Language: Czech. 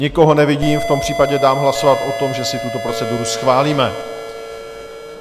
Nikoho nevidím, v tom případě dám hlasovat o tom, že si tuto proceduru schválíme.